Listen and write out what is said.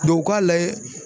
u k'a layɛ